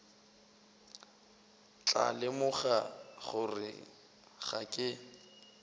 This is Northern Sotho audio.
tla lemoga gore ga ke